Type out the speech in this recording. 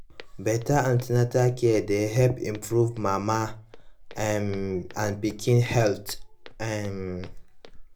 better an ten atal care dey help improve mama um and pikin health um